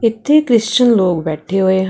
ਇਥੇ ਕ੍ਰਿਸਚਨ ਲੋਕ ਬੈਠੇ ਹੋਏ --